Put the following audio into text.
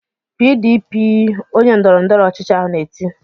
"PDP!" Onye ndọrọndọrọ ọchịchị ahụ na-eti.